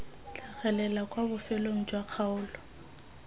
tlhagelela kwa bofelong jwa kgaolo